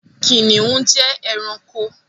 Kìnìún jẹ́ ẹranko.